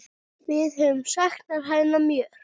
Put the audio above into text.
Við höfum saknað hennar mjög.